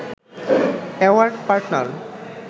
award partner